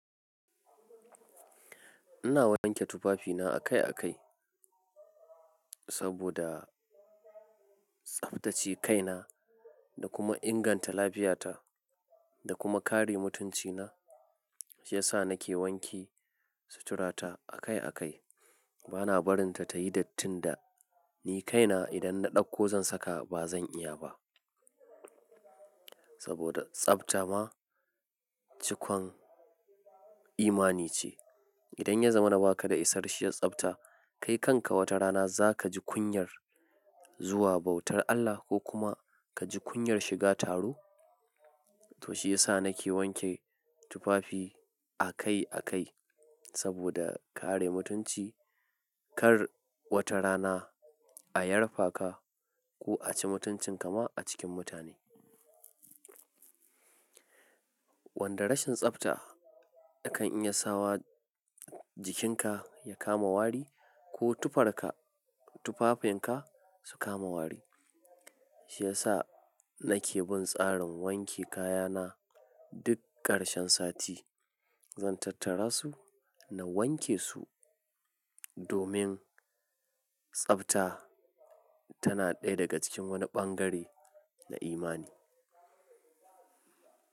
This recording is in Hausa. Ina wanke tufafina akai-akai saboda tsaftace kaina da kuma inganta lafiyata da kuma kare mutuncina, shi ya sa nake wanke suturata akai-akai. Bana barinta tayi dattin da ni kaina idan na ɗauko zan saka ba zan iya ba. Saboda tsafta ma cikon imani ce. Idan ya zama na ba ka da isarshiyar tsafta, kai kanka wata rana za ka ji kunyar zuwa bautar Allah ko kuma ka ji kunyar shiga taro. To shi ya sa nake wanke tufafi akai-akai saboda kare mutunci kar wata rana a yarfa ka ko a ci mutuncin ka ma a cikin mutane. Wanda rashin tsafta yakan iya sawa jikinka ya kama wari ko tufarka, tufafinka su kama wari. Shi ya sa nake bin tsarin wanke kayana duk ƙarshen sati. Zan tattara su na wanke su domin tsafta tana ɗaya daga cikin wani ɓangare na imani.